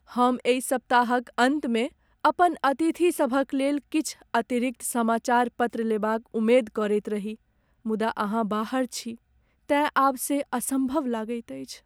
हम एहि सप्ताहक अन्तमे अपन अतिथिसभक लेल किछु अतिरिक्त समाचार पत्र लेबाक उम्मेद करैत रही मुदा अहाँ बाहर छी तेँ आब से असम्भव लगैत अछि।